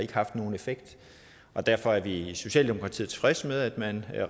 haft nogen effekt og derfor er vi i socialdemokratiet tilfredse med at man